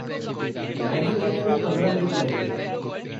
Maggi बनने में पंद्रह मिनट लगेंगे।